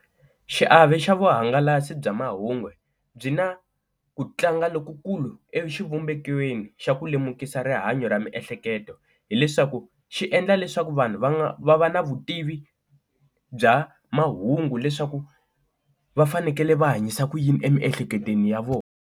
Xiave xa vuhangalasi bya mahungu byi na ku tlanga lokukulu exivumbekweni xa ku lemukisa rihanyo ra miehleketo hileswaku xi endla leswaku vanhu va nga va va na vutivi bya mahungu leswaku va fanekele va hanyisa ku yini emiehleketweni ya vona.